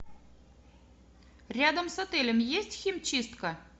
рядом с отелем есть химчистка